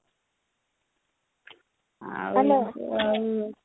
hello